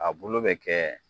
A bulu bɛ kɛ